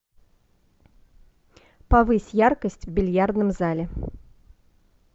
повысь яркость в бильярдном зале